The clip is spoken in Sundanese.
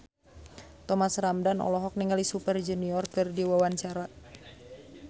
Thomas Ramdhan olohok ningali Super Junior keur diwawancara